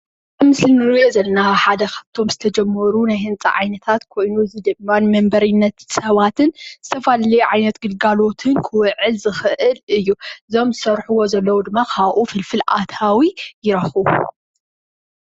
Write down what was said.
ኣብዚ ምስሊ እንሪኦ ዘለና ሓደ ካፍቶም ዝተጀመሩ ናይ ህነፃ ዓይነታት ኮይኑ እዚ ድማ ንመንበሪነት ሰባትን ዝተፈላለዩ ዓይነት ግልጋሎትን ክዉዕል ዝኽእል እዩ። እዞም ዝሰርሕዎ ዘለዉ ድማ ካዉኡ ፍልፍል ኣታዊ ይረክቡ።